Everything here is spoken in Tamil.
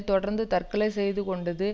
தொடர்ந்து தற்கொலை செய்து கொண்டது